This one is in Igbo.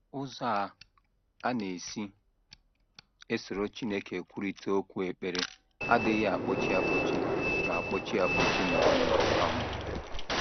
Ụzọ a a na - esi esoro Chineke ekwurịta okwu ekpere adịghị akpọchi akpọchi ma akpọchi akpọchi ma ọlị um.